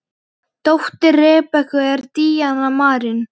Dóttir Rebekku er Díana Marín.